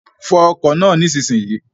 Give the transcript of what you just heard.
Fọ ọkọ̀ náà nísinsìnyí!